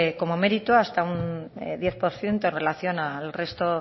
como mérito hasta un diez por ciento en relación al resto